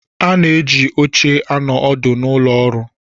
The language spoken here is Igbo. A na-eji oche anọ ọdụ n'ụlọ ọrụ.